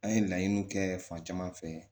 An ye laɲiniw kɛ fan caman fɛ